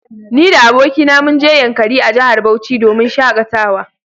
Ni da abokina munje yankari a jahar Bauchi domin shakatawa